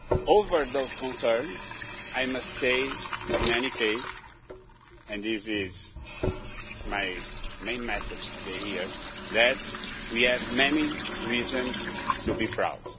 Over those concerns, I must say in any case and this is my main message here today that we have many reasons to be proud.